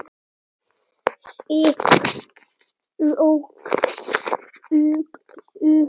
Slík rök dugðu.